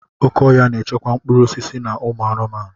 Oké ọhia na-echekwa mkpụrụ osisi na ụmụ anụmanụ.